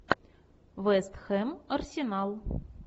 вест хэм арсенал